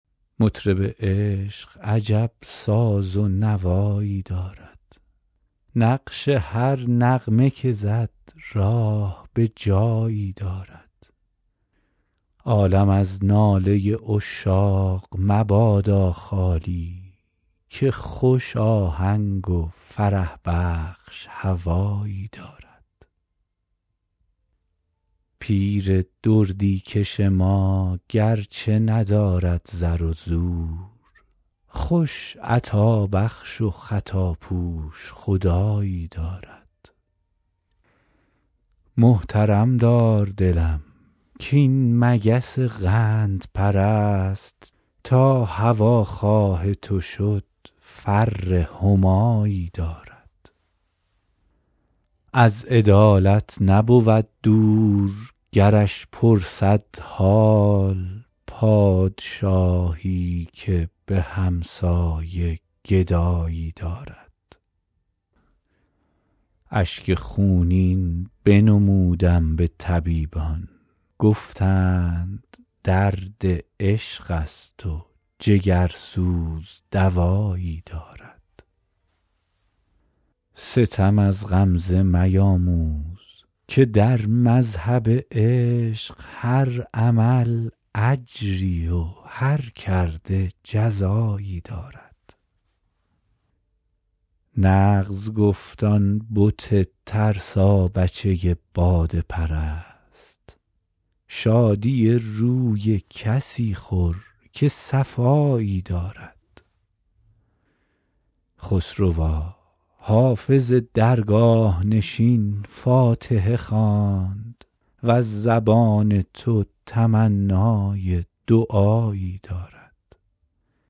مطرب عشق عجب ساز و نوایی دارد نقش هر نغمه که زد راه به جایی دارد عالم از ناله عشاق مبادا خالی که خوش آهنگ و فرح بخش هوایی دارد پیر دردی کش ما گرچه ندارد زر و زور خوش عطابخش و خطاپوش خدایی دارد محترم دار دلم کاین مگس قندپرست تا هواخواه تو شد فر همایی دارد از عدالت نبود دور گرش پرسد حال پادشاهی که به همسایه گدایی دارد اشک خونین بنمودم به طبیبان گفتند درد عشق است و جگرسوز دوایی دارد ستم از غمزه میاموز که در مذهب عشق هر عمل اجری و هر کرده جزایی دارد نغز گفت آن بت ترسابچه باده پرست شادی روی کسی خور که صفایی دارد خسروا حافظ درگاه نشین فاتحه خواند وز زبان تو تمنای دعایی دارد